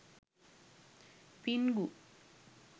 pingu